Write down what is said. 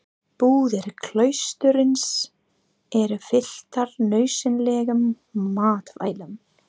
Búðir klaustursins eru fylltar nauðsynlegum matvælum.